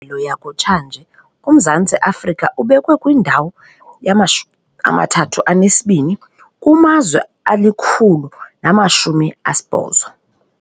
ngxelo yakutshanje uMzantsi Afrika ubekwe kwindawo yama-32 kumazwe ali-180.